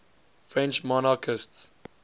french monarchists